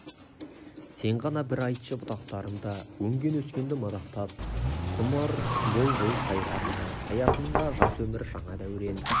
сен ғана бір айтшы бұтақтарында өнген-өскенді мадақтап құмыр бұлбұл сайрар ма саясында жас өмір жаңа дәурен